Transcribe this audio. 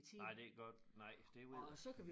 Nej det kan godt nej det ved jeg